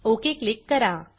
okay click करा